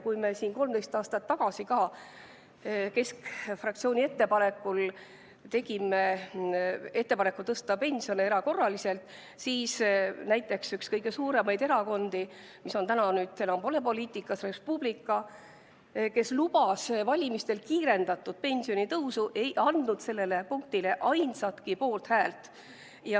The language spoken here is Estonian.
Kui me 13 aastat tagasi ka tegime keskfraktsiooniga ettepaneku tõsta pensione erakorraliselt, siis näiteks üks kõige suuremaid erakondi, mis täna enam pole poliitikas, Res Publica, kes lubas valimistel kiirendatud pensionitõusu, ei andnud sellele eelnõule ainsatki poolthäält.